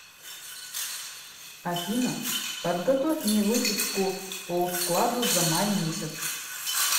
афина подготовь мне выписку по вкладу за май месяц